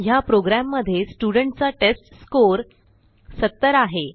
ह्या प्रोग्रॅममध्ये स्टुडेंट चा टेस्टस्कोर 70 आहे